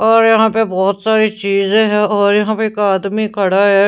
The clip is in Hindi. और यहां पे बहुत सारी चीजें हैं और यहां पे एक आदमी खड़ा है.